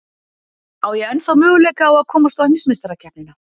Á ég ennþá möguleika á að komast á heimsmeistarakeppnina?